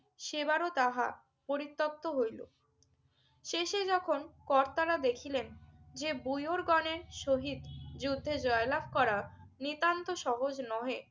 সেবারও তাহা পরিত্যক্ত হইল। শেষে যখন কর্তারা দেখিলেন যে বুইওরগণের সহিত যুদ্ধে জয়লাভ করা নিতান্ত সহজ নহে